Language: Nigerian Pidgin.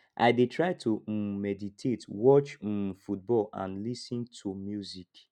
i dey try to um meditate watch um football and lis ten to music